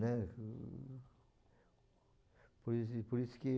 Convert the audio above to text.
né? Por isso, por isso que